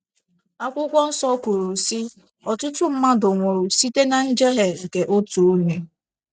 Akwụkwọ nsọ kwuru, sị: “ Ọtụtụ mmadụ nwụrụ site ná njehie nke otu onye. ”